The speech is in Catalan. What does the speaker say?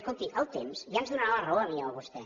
escolti el temps ja ens donarà la raó a mi o a vostè